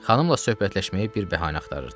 Xanımla söhbətləşməyə bir bəhanə axtarırdı.